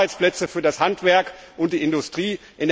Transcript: Wir wollen Arbeitsplätze für das Handwerk und die Industrie.